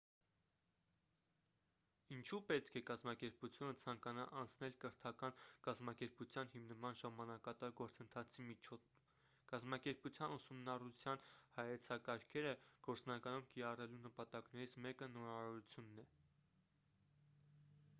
ինչու պետք է կազմակերպությունը ցանկանա անցնել կրթական կազմակերպության հիմնման ժամանակատար գործընթացի միջով կազմակերպության ուսումնառության հայեցակարգերը գործնականում կիրառելու նպատակներից մեկը նորարարությունն է